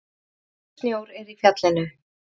Nægur snjór er í fjallinu